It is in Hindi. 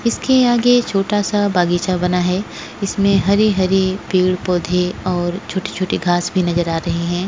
इसके आगे एक छोटा सा बगीच्या बना है इसमे हरे हरे पेड पौधे और छोटी छोटी घास भी नज़र आ रहि है।